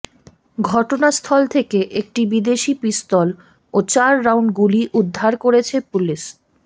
ঘটনাস্থল থেকে একটি বিদেশি পিস্তল ও চার রাউন্ড গুলি উদ্ধার করেছে পুলিশ